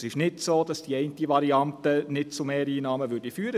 Es ist nicht so, dass eine Variante nicht zu Mehreinnahmen führen würde.